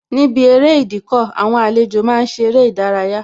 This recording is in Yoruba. Níbi eré Ìdíkọ̀, àwọn àlejò máa ń ṣe eré ìdárayá